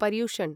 Paryushan